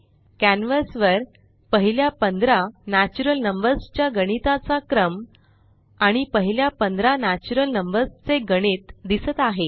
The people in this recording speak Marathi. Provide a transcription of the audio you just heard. कॅन्वस वर पहिल्या 15 नॅचुरल नंबर्स च्या गणिता चा क्रम आणि पहिल्या 15 नॅचुरल नंबर्स चे गणित दिसत आहे